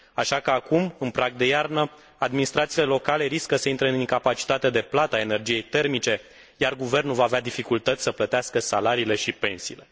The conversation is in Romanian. Așa că acum, în prag de iarnă, administrațiile locale riscă să intre în incapacitatea de plată a energiei termice, iar guvernul va avea dificultăți să plătească salariile și pensiile.